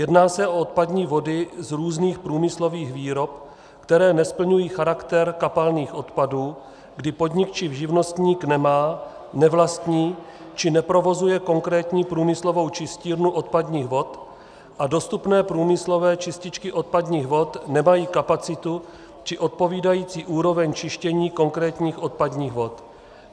Jedná se o odpadní vody z různých průmyslových výrob, které nesplňují charakter kapalných odpadů, kdy podnik či živnostník nemá, nevlastní či neprovozuje konkrétní průmyslovou čistírnu odpadních vod a dostupné průmyslové čističky odpadních vod nemají kapacitu či odpovídající úroveň čištění konkrétních odpadních vod.